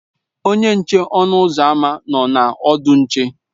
Onye nche ọnụ ụzọ ámá nọ na ọdụ nche.